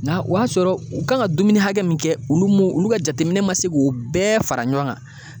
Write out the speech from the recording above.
Nga o y'a sɔrɔ u kan ka dumuni hakɛ min kɛ, olu m'o olu ka jateminɛ ma se k'o bɛɛ fara ɲɔgɔn kan.